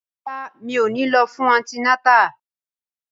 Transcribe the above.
Rárá, mi ò ní lọ fún antinátà